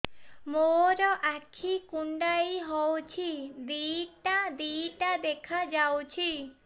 ମୋର ଆଖି କୁଣ୍ଡାଇ ହଉଛି ଦିଇଟା ଦିଇଟା ଦେଖା ଯାଉଛି